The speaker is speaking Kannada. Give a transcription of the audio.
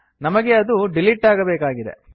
ನಮಗೆ ಅದು ಡಿಲಿಟ್ ಆಗಬೇಕಾಗಿದೆ